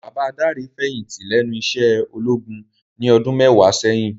Baba Dare fèyinti lènú iṣè ólógún ni òdùn mèwá sèyin